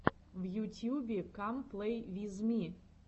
в ютьюбе кам плей виз ми